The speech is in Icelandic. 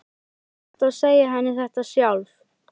Þú skalt þá segja henni þetta sjálf!